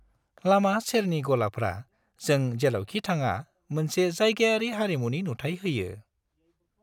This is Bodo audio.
लामा-सेरनि गलाफ्रा जों जेरावखि थाङा मोनसे जायगायारि हारिमुनि नुथाय होयो।